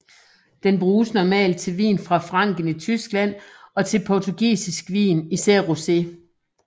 Den bruges normalt til vin fra Franken i Tyskland og til portugisisk vin især rosé